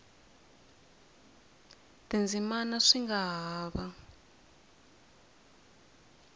tindzimana swi nga ha va